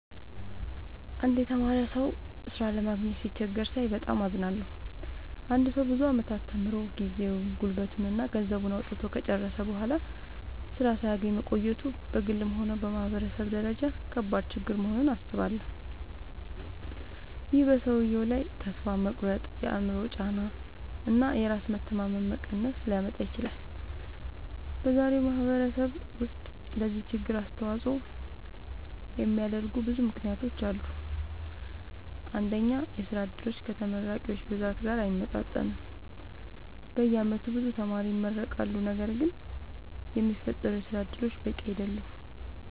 አንድ የተማረ ሰው ሥራ ለማግኘት ሲቸገር ሳይ በጣም አዝናለሁ። አንድ ሰው ብዙ ዓመታት ተምሮ፣ ጊዜውን፣ ጉልበቱን እና ገንዘቡን አውጥቶ ከጨረሰ በኋላ ሥራ ሳያገኝ መቆየቱ በግልም ሆነ በማህበረሰብ ደረጃ ከባድ ችግር መሆኑን አስባለሁ። ይህ በሰውየው ላይ ተስፋ መቁረጥ፣ የአእምሮ ጫና እና የራስ መተማመን መቀነስ ሊያመጣ ይችላል። በዛሬው ማህበረሰብ ውስጥ ለዚህ ችግር አስተዋጽኦ የሚያደርጉ ብዙ ምክንያቶች አሉ። አንደኛ፣ የሥራ ዕድሎች ከተመራቂዎች ብዛት ጋር አይመጣጠኑም። በየዓመቱ ብዙ ተማሪዎች ይመረቃሉ፣ ነገር ግን የሚፈጠሩ የሥራ እድሎች በቂ አይደሉም።